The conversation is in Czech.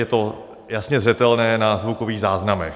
Je to jasně zřetelné na zvukových záznamech.